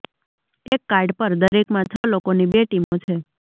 એક કાર્ડ પર દરેકમાં છ લોકોની બે ટીમો છે